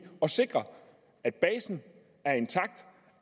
at sikre at basen er intakt